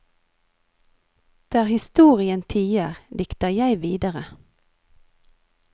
Der historien tier, dikter jeg videre.